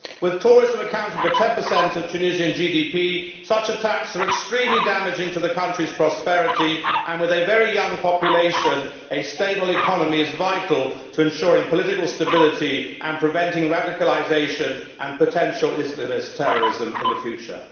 With tourism accounting for 10 of Tunisian GDP, such attacks are extremely damaging to the country's prosperity and, with a very young population, a stable economy is vital to ensuring political stability and preventing radicalisation and potential Islamist terrorism in the future.